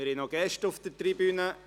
Wir haben noch Gäste auf der Tribüne.